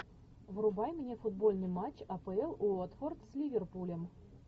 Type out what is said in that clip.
врубай мне футбольный матч апл уотфорд с ливерпулем